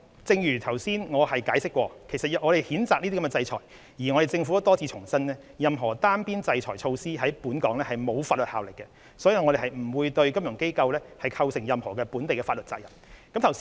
正如我剛才解釋，我們譴責這些制裁，而政府亦多次重申，任何單邊制裁措施在本港並沒有法律效力，所以不會對金融機構構成任何本地法律責任。